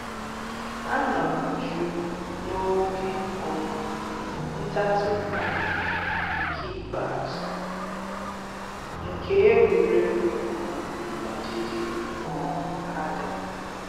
A nọrọ jụụ n'oge um nta tupu mbem nke ikpeazụ nke egwuregwu um ọdịdị um adaa